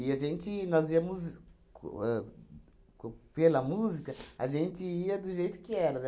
E a gente, nós íamos co ahn co... Pela música, a gente ia do jeito que era, né?